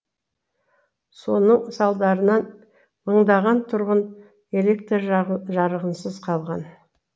соның салдарынан мыңдаған тұрғын электр жарығынсыз қалған